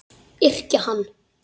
Yrkja hann!